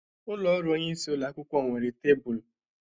Ụlọ ọrụ onyeisi ụlọ akwụkwọ nwere tabulu